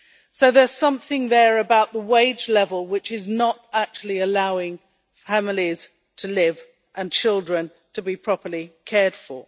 So there's something to be said about the wage level which is not actually allowing families to live and children to be properly cared for.